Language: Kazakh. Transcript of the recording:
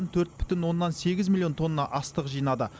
төрт бүтін оннан сегіз миллион тонна астық жинады